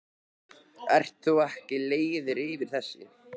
Ert þú ekki leiður yfir þessu?